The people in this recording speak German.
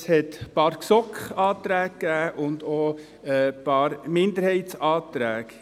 Es gab ein paar GSoK-Anträge und auch ein paar Minderheitsanträge.